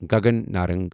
Gagan Narang